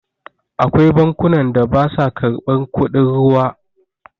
Akwai bankunan da basa karɓar kudin ruwa.